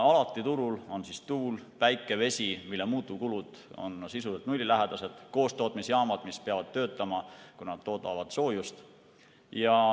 Alati on turul tuul, päike, vesi, mille muutuvkulud on sisuliselt nullilähedased, ning koostootmisjaamad, mis peavad töötama, kuna nad toodavad soojust.